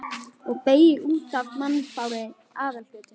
Og beygir út af mannfárri aðalgötunni.